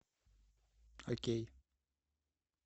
окей